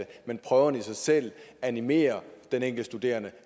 prøverne i sig selv animerer de enkelte studerende